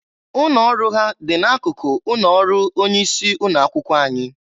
Ụnọ ọrụ ha dị na akụkụ ụnọ ọrụ onye isi ụnọ akwụkwọ anyị.